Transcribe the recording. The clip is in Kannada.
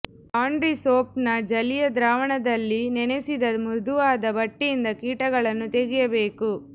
ಲಾಂಡ್ರಿ ಸೋಪ್ನ ಜಲೀಯ ದ್ರಾವಣದಲ್ಲಿ ನೆನೆಸಿದ ಮೃದುವಾದ ಬಟ್ಟೆಯಿಂದ ಕೀಟಗಳನ್ನು ತೆಗೆಯಬೇಕು